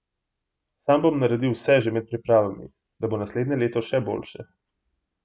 Sam bom naredil vse že med pripravami, da bo naslednje leto še boljše.